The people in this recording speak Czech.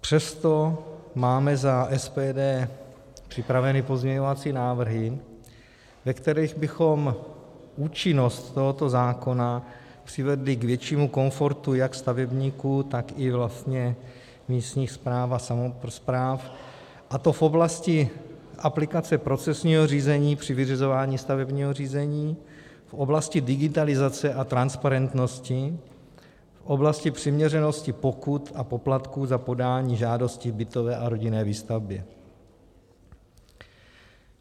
Přesto máme za SPD připraveny pozměňovací návrhy, ve kterých bychom účinnost tohoto zákona přivedli k většímu komfortu jak stavebníků, tak i vlastně místních správ a samospráv, a to v oblasti aplikace procesního řízení při vyřizování stavebního řízení, v oblasti digitalizace a transparentnosti, v oblasti přiměřenosti pokut a poplatků za podání žádosti k bytové a rodinné výstavbě.